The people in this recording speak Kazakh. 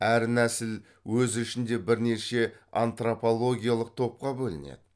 әр нәсіл өз ішінде бірнеше антропологиялық топқа бөлінеді